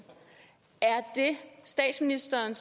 er statsministeren